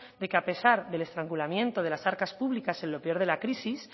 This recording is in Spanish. de que a pesar del estrangulamiento de las arcas públicas en lo peor de la crisis